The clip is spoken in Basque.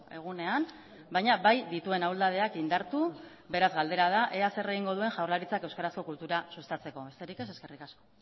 egunean baina bai dituen ahuldadeak indartu beraz galdera da ea zer egingo duen jaurlaritzak euskarazko kultura sustatzeko besterik ez eskerrik asko